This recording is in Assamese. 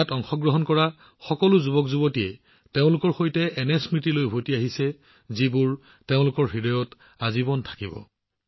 ইয়াৰ অংশ হৈ থকা সকলো যুৱকযুৱতীয়ে এনে স্মৃতি লৈ উভতি আহিছে যিবোৰ গোটেই জীৱন তেওঁলোকৰ হৃদয়ত ৰৈ থাকিব